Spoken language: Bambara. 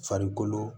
Farikolo